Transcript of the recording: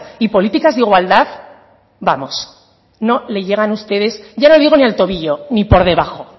y políticas de igualdad vamos no le llegan ustedes ya no digo ni al tobillo ni por debajo